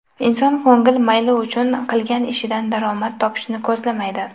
Inson ko‘ngil mayli uchun qilgan ishidan daromad topishni ko‘zlamaydi.